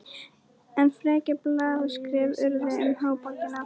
Enn frekari blaðaskrif urðu um háborgina.